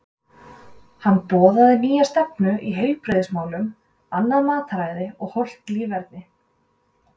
Hann boðaði nýja stefnu í heilbrigðismálum, annað mataræði og hollt líferni.